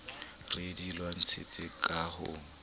re di lwanetseng ka ho